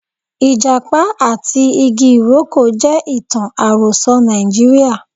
Ijapa ati igi iroko je itan aroso Naijiria.